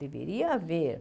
Deveria haver.